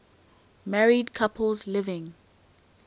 married couples living